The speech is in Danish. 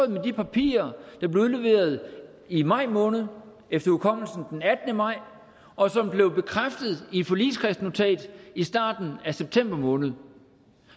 med de papirer der blev udleveret i maj måned efter hukommelsen den attende maj og som blev bekræftet i et forligskredsnotat i starten af september måned